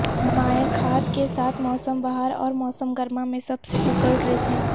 مائع کھاد کے ساتھ موسم بہار اور موسم گرما میں سب سے اوپر ڈریسنگ